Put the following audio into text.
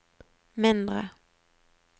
mindre